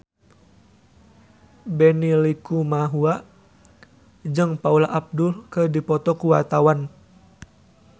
Benny Likumahua jeung Paula Abdul keur dipoto ku wartawan